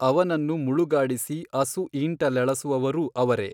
ಅವನನ್ನು ಮುಳುಗಾಡಿಸಿ ಅಸು ಈಂಟಲೆಳಸುವವರೂ ಅವರೇ.